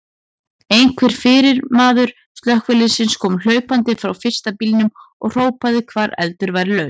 Einhver fyrirmaður slökkviliðsins kom hlaupandi frá fyrsta bílnum og hrópaði hvar eldur væri laus.